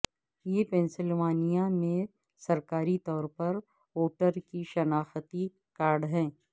یہ پنسلوانیا میں سرکاری طور پر ووٹر کی شناختی کارڈ ہے